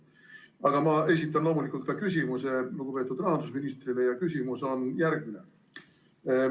Aga ma loomulikult esitan lugupeetud rahandusministrile ka küsimuse ja see on järgmine.